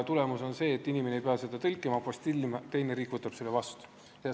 Tulemus on see, et inimene ei pea seda tõlkima ega apostillima ja teine riik võtab selle vastu.